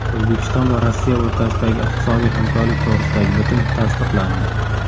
O‘zbekiston va Rossiya o‘rtasidagi iqtisodiy hamkorlik to‘g‘risidagi bitim tasdiqlandi.